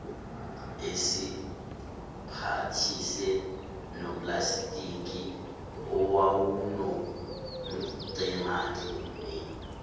esemphathise noplastiki owawunomngenandlini